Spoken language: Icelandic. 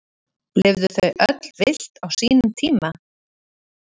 Lifðu þau öll villt á sínum tíma?